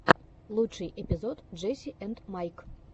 лучший эпизод джесси энд майк